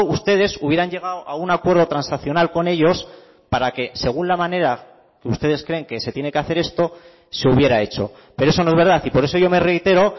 ustedes hubieran llegado a un acuerdo transaccional con ellos para que según la manera que ustedes creen que se tiene que hacer esto se hubiera hecho pero eso no es verdad y por eso yo me reitero